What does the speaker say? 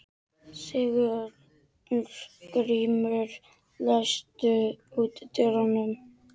Sigurgrímur, læstu útidyrunum.